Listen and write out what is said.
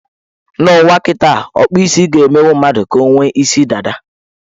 N' ụwa kịtaa, ọkpụ isi ga-emenwu mmadụ ka o nwee isi dada.